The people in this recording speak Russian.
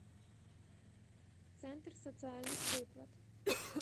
центр социальных выплат